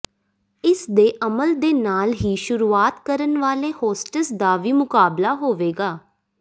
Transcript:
ਇਸ ਦੇ ਅਮਲ ਦੇ ਨਾਲ ਹੀ ਸ਼ੁਰੂਆਤ ਕਰਨ ਵਾਲੇ ਹੋਸਟੇਸ ਦਾ ਵੀ ਮੁਕਾਬਲਾ ਹੋਵੇਗਾ